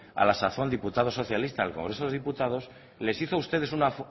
a la sazón diputado socialista del congreso de los diputados les hizo a ustedes una